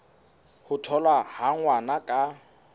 ho tholwa ha ngwana ka